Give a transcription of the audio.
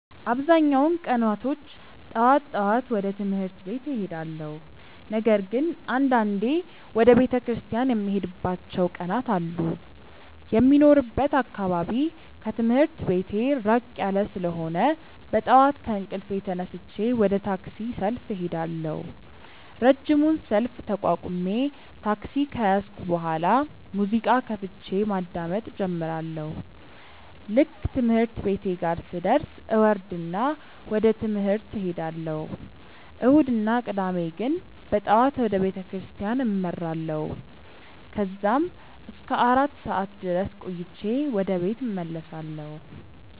አብዛኛውን ቀናቶች ጠዋት ጠዋት ወደ ትምህርት ቤት እሄዳለሁ። ነገር ግን አንዳንዴ ወደ ቤተክርስቲያን የምሄድባቸው ቀናት አሉ። የሚኖርበት አካባቢ ከትምህርት ቤቴ ራቅ ያለ ስለሆነ በጠዋት ከእንቅልፌ ተነስቼ ወደ ታክሲ ሰልፍ እሄዳለሁ። ረጅሙን ሰልፍ ተቋቁሜ ታክሲ ከያዝኩ በኋላ ሙዚቃ ከፍቼ ማዳመጥ እጀምራለሁ። ልክ ትምህርት ቤቴ ጋር ስደርስ እወርድና ወደ ትምህርት እሄዳለሁ። እሁድ እና ቅዳሜ ግን በጠዋት ወደ ቤተክርስቲያን አመራለሁ። ከዛም እስከ አራት ሰዓት ድረስ ቆይቼ ወደ ቤት እመለሳለሁ።